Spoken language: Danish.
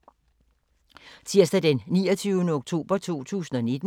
Tirsdag d. 29. oktober 2019